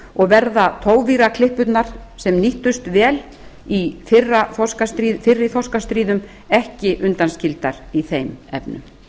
og verða togvíraklippurnar sem nýttust vel í fyrri þorskastríðum ekki undanskildar í þeim efnum